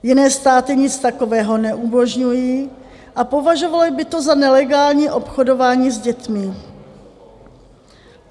Jiné státy nic takového neumožňují a považovaly by to za nelegální obchodování s dětmi.